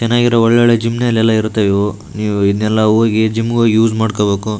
ಚೆನ್ನಾಗಿರೋ ಒಳ್ಳೆ‌ ಒಳ್ಳೆ ಜಿಮ್ಗಳೆಲ್ಲ ಇರುತ್ತೆ ಇವು ನಿವು ಇವೆಲ್ಲ ಹೋಗಿ ಜಿಮ್ಗ್ ಹೋಗಿ ಯುಸ್ ಮಾಡ್ಕೊಳ್ಬೇಕು .